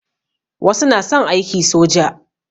Wasu na son aiki soja.